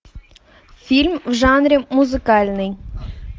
фильм в жанре музыкальный